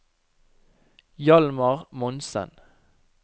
Hjalmar Monsen